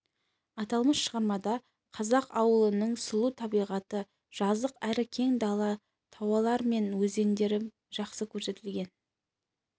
аталмыш шығармада қазақ ауылының сұлу табиғаты жазық әрі кең дала таулар мен өзендер жақсы көрсетілген